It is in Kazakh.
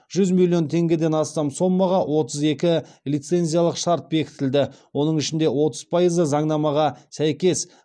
жүз миллион теңгеден астам сомаға отыз екі лицензиялық шарт бекітілді оның ішінде отыз пайызы заңнамаға сәйкес